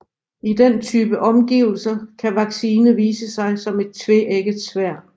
I den type omgivelser kan vaccine vise sig som et tveægget sværd